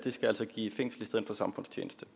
i fængsel